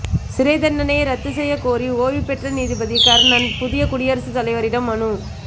சிறை தண்டனையை ரத்து செய்யக்கோரி ஓய்வுபெற்ற நீதிபதி கர்ணன் புதிய குடியரசுத் தலைவரிடம் மனு